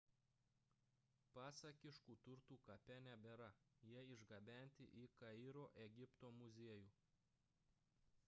pasakiškų turtų kape nebėra – jie išgabenti į kairo egipto muziejų